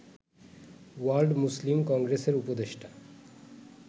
world Muslim কংগ্রেসের উপদেষ্টা